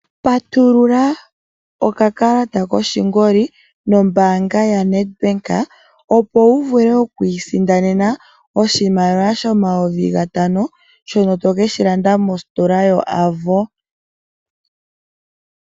Patulula oka kalata koshingoli nombaanga yoNedbank, opo wu vule oku isindanena oshimaliwa shomayovi gatano, shono to keshi landa mositola yoAvo.